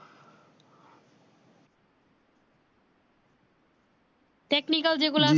technical যে গুলা আছে